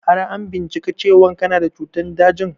Har an bincika cewan kana da cutan dajin?